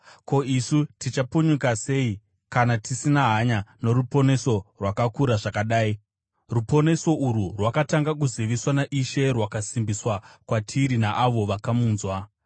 ko, isu tichapunyuka sei kana tisina hanya noruponeso rwakakura zvakadai? Ruponeso urwu rwakatanga kuziviswa naIshe, rwakasimbiswa kwatiri naavo vakamunzwa.